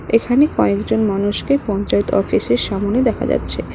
এখানে কয়েকজন মানুষকে পঞ্চায়েত অফিসের সামনে দেখা যাচ্ছে।